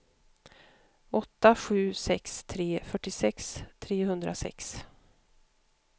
åtta sju sex tre fyrtiosex trehundrasex